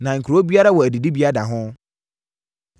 Na kuro biara wɔ adidibea da ho.